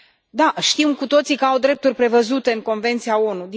Da, știm cu toții că au drepturi prevăzute în Convenția ONU.